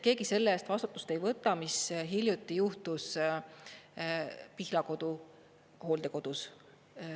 Keegi selle eest vastutust ei võta, mis hiljuti juhtus Pihlakodu hooldekodus.